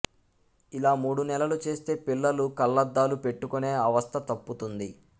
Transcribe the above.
ఇలా మూడునెలలు చేస్తే పిల్లలు కళ్ళద్ధాలు పెట్టుకునే అవస్థ తప్పుతుంది